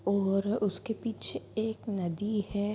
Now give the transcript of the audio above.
और उसके पीछे एक नदी है ।